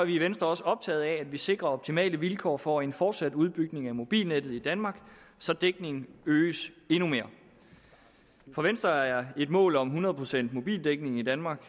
i venstre også optaget af at vi sikrer optimale vilkår for en fortsat udbygning af mobilnettet i danmark så dækningen øges endnu mere for venstre er et mål om hundrede procent mobildækning i danmark